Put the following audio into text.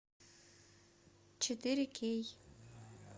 четыре кей